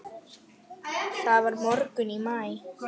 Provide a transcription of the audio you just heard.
Það var morgunn í maí.